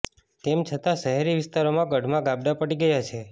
તેમ છતાં શહેરી વિસ્તારોમાં ગઢમાં ગાબડાં પડી ગયા છે